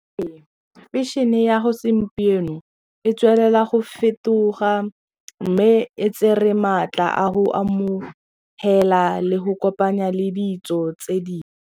Ee, fashion-e ya segompieno e tswelela go fetoga mme e tsere maatla a go amogela le go kopanya le ditso tse dingwe.